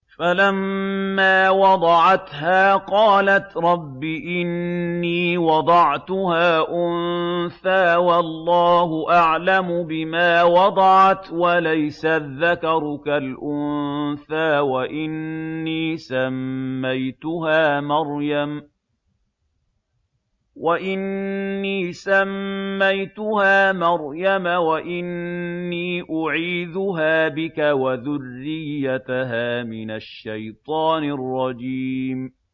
فَلَمَّا وَضَعَتْهَا قَالَتْ رَبِّ إِنِّي وَضَعْتُهَا أُنثَىٰ وَاللَّهُ أَعْلَمُ بِمَا وَضَعَتْ وَلَيْسَ الذَّكَرُ كَالْأُنثَىٰ ۖ وَإِنِّي سَمَّيْتُهَا مَرْيَمَ وَإِنِّي أُعِيذُهَا بِكَ وَذُرِّيَّتَهَا مِنَ الشَّيْطَانِ الرَّجِيمِ